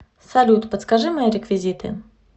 салют подскажи мои реквизиты